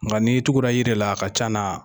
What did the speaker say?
Nka ni tugura yira la a ka ca na